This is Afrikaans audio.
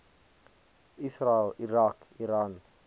israel irak iran